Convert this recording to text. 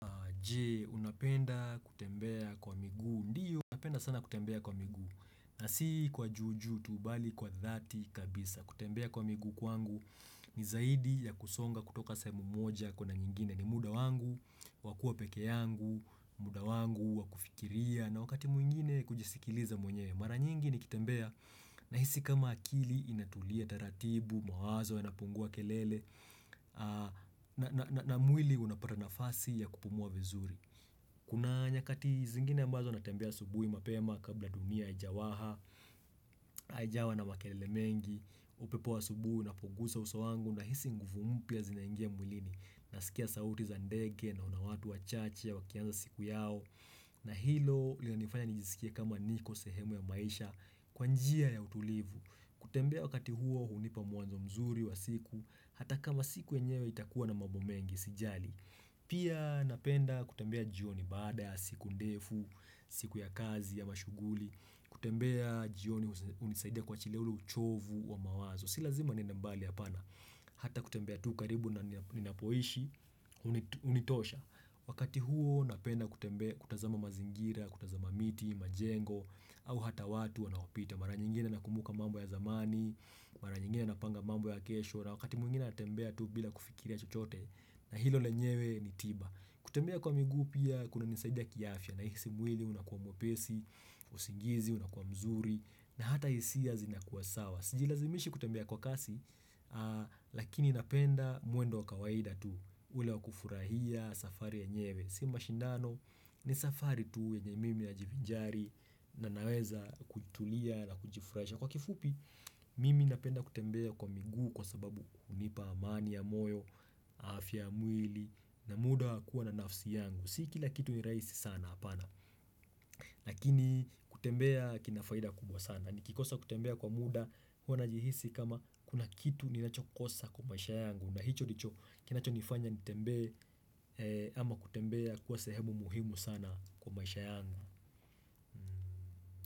Je, unapenda kutembea kwa miguu, ndiyo napenda sana kutembea kwa miguu na si kwa juu juu tu bali kwa dhati kabisa kutembea kwa miguu kwangu ni zaidi ya kusonga kutoka sehemu moja kuenda nyingine ni muda wangu, wa kuwa peke yangu, muda wangu, wakufikiria na wakati mwingine kujisikiliza mwenyewe mara nyingi nikitembea nahisi kama akili inatulia taratibu, mawazo yanapungua kelele na mwili unapata nafasi ya kupumua vizuri Kuna nyakati zingine ambazo natembea asubuhi mapema kabla dunia haijawaha haijawa na makelele mengi upepo wa asubuhi unapogusa uso wangu nahisi nguvu mpya zinaingia mwilini Nasikia sauti za ndege na watu wachache wakianza siku yao na hilo linanifanya nijiskie kama niko sehemu ya maisha Kwa njia ya utulivu kutembea wakati huo hunipa mwanzo mzuri wa siku Hata kama siku yenyewe itakuwa na mambo mengi sijali Pia napenda kutembea jioni baada ya siku ndefu, siku ya kazi ya mashughuli kutembea jioni hunisaidia kuachilia ule uchovu wa mawazo Si lazima niende mbali hapana Hata kutembea tu karibu na ninapoishi, hunitosha wakati huo napenda kutembea kutazama mazingira, kutazama miti, majengo au hata watu wanaopita Mara nyingine nakumbuka mambo ya zamani Mara nyingine napanga mambo ya kesho na wakati mwingine natembea tu bila kufikiria chochote na hilo lenyewe ni tiba kutembea kwa miguu pia kunanisaidia kiafya nahisi mwili unakuwa mwepesi, usingizi, unakuwa mzuri na hata hisia zinakuwa sawa sijilazimishi kutembea kwa kasi lakini napenda mwendo wa kawaida tu ule wa kufurahia safari yenyewe si mashindano ni safari tu yenye mimi najivinjari na naweza kutulia na kujifurahisha Kwa kifupi, mimi napenda kutembea kwa miguu kwa sababu hunipa amani ya moyo, afya ya mwili na muda wa kuwa na nafsi yangu Si kila kitu ni rahisi sana hapana, lakini kutembea kina faida kubwa sana Nikikosa kutembea kwa muda huwa najihisi kama kuna kitu ninachokosa kwa maisha yangu na hicho ndicho kinachonifanya nitembee ama kutembea kuwa sehemu muhimu sana kwa maisha yangu.